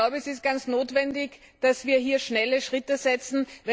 Es ist notwendig, dass wir hier schnelle Schritte setzen.